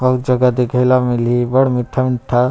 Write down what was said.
बहुत जगह देखेला मिलही अब्बड़ मीठा-मीठा--